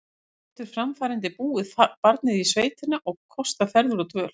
Getur framfærandi búið barnið í sveitina og kostað ferðir og dvöl?